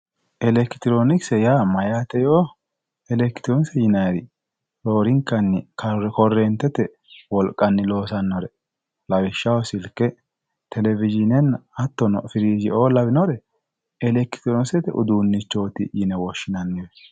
Elekitironkise mayate yoo, elekitironkise yinnanniri roorinkanni koretete wolqanni loosanore lawishshaho silke televishinena hattono firijeo lawinore elekitironkisete uduuneti yinne woshshinanni.